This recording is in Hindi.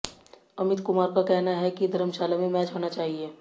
अमित कुमार का कहना है कि धर्मशाला में मैच होना चाहिए